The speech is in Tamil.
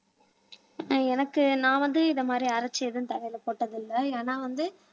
அஹ் எனக்கு நான் வந்து இந்த மாதிரி அரைச்சு எதுவும் தலையில போட்டது இல்ல ஏன்னா வந்து